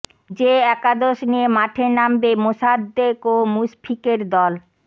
যে একাদশ নিয়ে মাঠে নামবে মোসাদ্দেক ও মুশফিকের দল